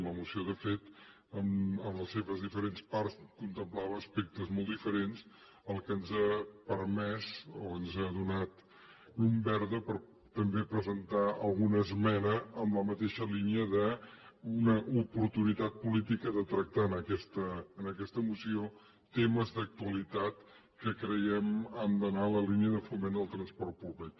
la moció de fet en les seves diferents parts contemplava aspectes molt diferents el que ens ha permès o ens ha donat llum verda per també presentar alguna esmena en la mateixa línia d’una oportunitat política de tractar en aquesta moció temes d’actualitat que creiem que han d’anar en la línia de foment del transport públic